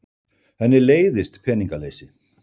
Henni leiðist peningaleysi.